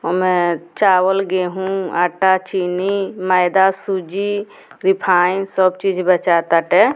होमें चावल गेहूँ आटा चीनी मैदा सूजी रिफाइन सब चीज बेचाता ताटे।